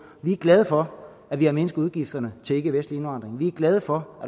vi er glade for at vi har mindsket udgifterne til ikkevestlig indvandring vi er glade for